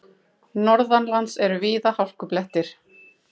Norðanlands eru víða hálkublettir